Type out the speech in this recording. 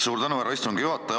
Suur tänu, härra istungi juhataja!